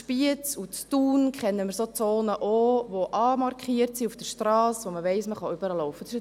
Diese verfügen über eine Markierung auf der Strasse, die anzeigt, dass man die Strasse überqueren kann.